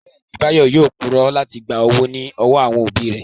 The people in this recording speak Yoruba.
Bẹ́ẹ̀ni, Báyọ̀ yóò purọ́ láti gba owó ní ọwọ́ àwọn òbí rẹ̀